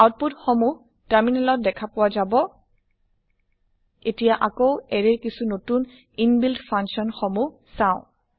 output সমুহ terminal ত দেখাপোৱা যাব এতিয়া আকৌ এৰে ৰ কিছু নতুন ইনবিল্ড ফাংচন সমুহ চাওঁ